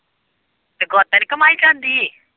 ਤੇ ਗੁੱਤ ਨੀ ਘੁੰਮਾਈ ਜਾਂਦੀ।